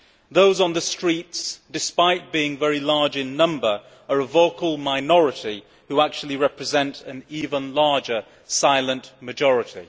Those on the streets, despite being very large in number, are a vocal minority who actually represent an even larger silent majority.